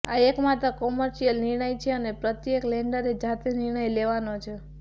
આ એકમાત્ર કોમર્શિયલ નિર્ણય છે અને પ્રત્યેક લેન્ડરે જાતે નિર્ણય લેવાનો છે